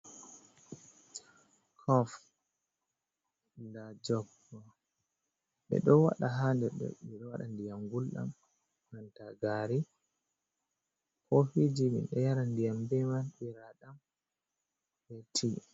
Kof nda jog, ɓeɗo wada ha nder ɓeɗo waɗa ndiyam ngulɗam, banta gari, ko fiji min ɗo yara ndiyam be man ɓira ɗam be tii.